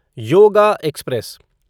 yoga express